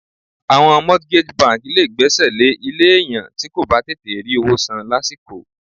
Àwọn mortgage bank lé gbèsè lè ilé èèyàn ti ko bà tètè rí owó san lásìkò.